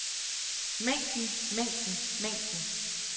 mængden mængden mængden